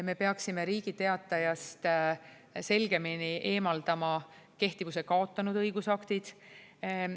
Me peaksime Riigi Teatajast selgemini eemaldama kehtivuse kaotanud õigusaktid.